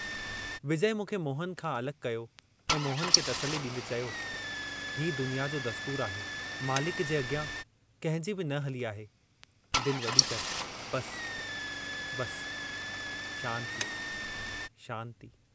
विजय मूंखे मोहन खां अलॻि कयो ऐं मोहन खे तसल्ली ॾींदे चयो, हीउ दुनिया जो दस्तूर आहे, मालिक जे अॻियां कंहिंजी बि न हली आहे, दिल वॾी करि बस... बस... शांति... शांति...।